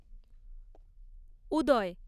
উদয়